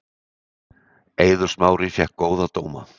Eiður Smári fékk góða dóma